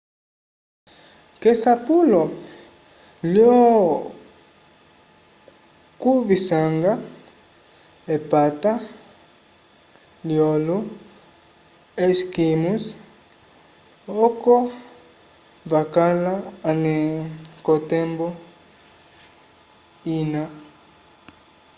k'esapulo lyokuvisanga epata lyolo-esquimós oko vakala ale k'otembo ina